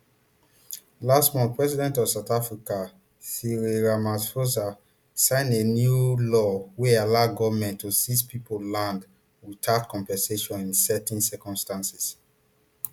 last month president of south africa cyril ramaphosa sign a new law wey allow goment to seize pipo land witout compensation in certain circumstances